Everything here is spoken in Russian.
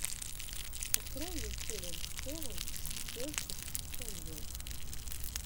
открой мне челлендж севен перфект энджелс